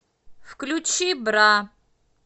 включи бра